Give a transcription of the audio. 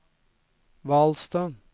Hvalstad